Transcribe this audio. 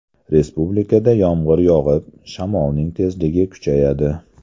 Respublikada yomg‘ir yog‘ib, shamolning tezligi kuchayadi.